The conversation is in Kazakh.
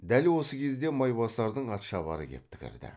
дәл осы кезде майбасардың атшабары кепті кірді